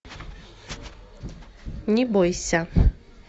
не бойся